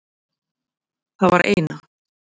Það var eina.